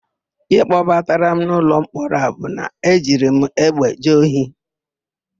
Íhé kpọbatara m n'ụlọmkpọrọ a bụ na e jiri m egbe jee ohi.